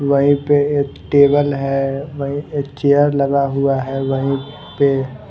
वहीं पे एक टेबल है वहीं एक चेयर लगा हुआ है वहीं पे--